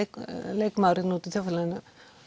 leikmaður úti í þjóðfélaginu